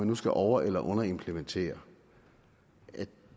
nu skal over eller underimplementeres at